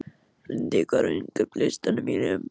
Lundi, hvað er á innkaupalistanum mínum?